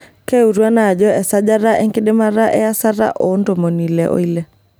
Keutu ena ajo esajata enkidamata eayasata oo ntomoni ile oile .